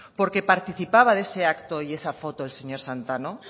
por qué participaba de ese acto y esa foto el señor santano